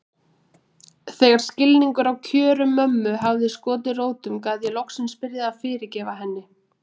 Þegar skilningurinn á kjörum mömmu hafði skotið rótum gat ég loksins byrjað að fyrirgefa henni.